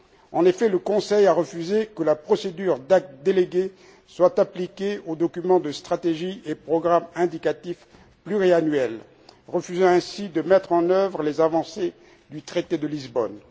En effet, le Conseil a refusé que la procédure d'actes délégués soit appliquée aux documents de stratégie et programmes indicatifs pluriannuels, refusant ainsi de mettre en œuvre les avancées du traité de Lisbonne.